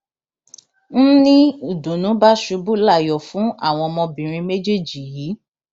n ní ìdùnnú bá ṣubú layọ fún àwọn ọmọbìnrin méjèèjì yìí